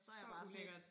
Så ulækkert